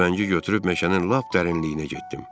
Tüfəngi götürüb meşənin lap dərinliyinə getdim.